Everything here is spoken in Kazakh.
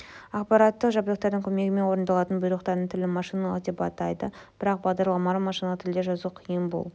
аппараттық жабдықтардың көмегімен орындалатын бұйрықтардың тілін машиналық деп атайды бірақ бағдарламаларды машиналық тілде жазу қиын бұл